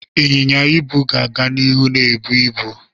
Ịnyịnya ibu ga-aga n'ihu na-ebu ibu.